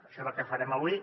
això és el que farem avui